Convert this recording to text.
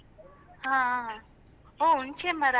ಹಾ ಹಾ ಹ್ಮ್ ಹುಣಸೇ ಮರ ಅಲ್ಲ?